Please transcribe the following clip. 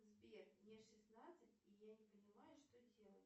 сбер мне шестнадцать и я не понимаю что делать